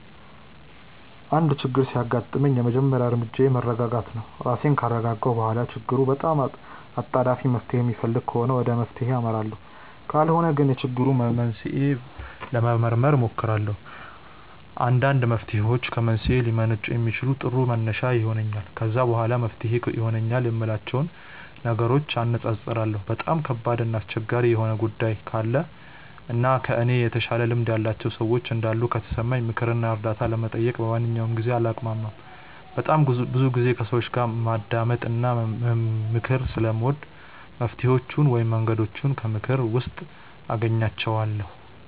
አንድ ችግር ሲያጋጥመኝ የመጀመሪያ እርምጃዬ መረጋጋት ነው። ራሴን ካረጋጋሁ በኋላ ችግሩ በጣም አጣዳፊ መፍትሔ የሚፈልግ ከሆነ ወደ መፍትሔው አመራለሁ ካልሆነ ግን የችግሩን መንስኤ ለመመርመር እሞክራለሁ። አንዳንድ መፍትሔዎች ከመንስኤው ሊመነጩ ስለሚችሉ ጥሩ መነሻ ይሆነኛል። ከዛ በኋላ መፍትሄ ይሆናሉ የምላቸውን ነገሮች አነፃፅራለሁ። በጣም ከባድ እና አስቸጋሪ የሆኑ ጉዳዮች ካሉ እና ከእኔ የተሻለ ልምድ ያላቸው ሰዎች እንዳሉ ከተሰማኝ ምክር እና እርዳታ ለመጠየቅ በማንኛውም ጊዜ አላቅማማም። በጣም ብዙ ጊዜ ከሰዎች ማዳመጥ እና ምክር ስለምወድ መፍትሔዎቹን ወይም መንገዶቹን ከምክክር ውስጥ አገኛቸዋለሁ።